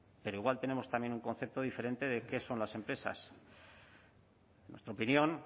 pero igual tenemos también un concepto diferente de qué son las empresas en nuestra opinión